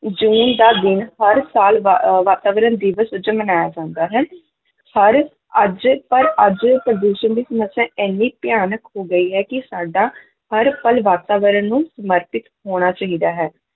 ਜੂਨ ਦਾ ਦਿਨ ਹਰ ਸਾਲ ਵਾ~ ਵਾਤਾਵਰਨ ਦਿਵਸ ਵਜੋਂ ਮਨਾਇਆ ਜਾਂਦਾ ਹੈ ਸਾਰੇ ਅੱਜ ਪਰ ਅੱਜ ਪ੍ਰਦੂਸ਼ਣ ਦੀ ਸਮੱਸਿਆ ਇੰਨੀ ਭਿਆਨਕ ਹੋ ਗਈ ਹੈ ਕਿ ਸਾਡਾ ਹਰ ਪਲ ਵਾਤਾਵਰਨ ਨੂੰ ਸਮਰਪਿਤ ਹੋਣਾ ਚਾਹੀਦਾ ਹੈ।